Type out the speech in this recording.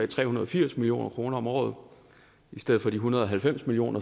tre hundrede og firs million kroner om året i stedet for de en hundrede og halvfems million